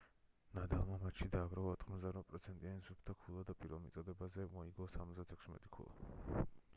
ნადალმა მატჩში დააგროვა 88%-იანი სუფთა ქულა და პირველ მოწოდებაზე მოიგო 76 ქულა